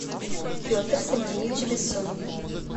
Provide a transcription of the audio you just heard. петр сергеевич бессонов